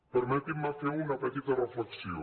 permetin me fer una petita reflexió